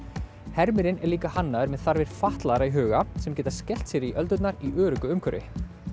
hermirinn er líka hannaður með þarfir fatlaðra í huga sem geta skellt sér í öldurnar í öruggu umhverfi